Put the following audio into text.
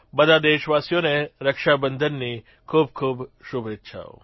બધા દેશવાસીઓને રક્ષાબંધનની ખૂબખૂબ શુભેચ્છાઓ